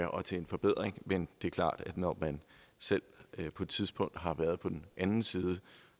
og til en forbedring men det er klart at når man selv på et tidspunkt har været på den anden side